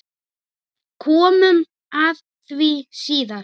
Komum að því síðar.